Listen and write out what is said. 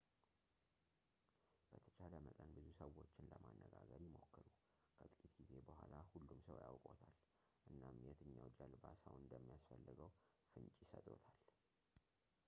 በተቻለ መጠን ብዙ ሰዎችን ለማነጋገር ይሞክሩ ከጥቂት ጊዜ በኋላ ሁሉም ሰው ያውቅዎታል እናም የትኛው ጀልባ ሰው እንደሚያስፈልገው ፍንጭ ይሰጥዎታል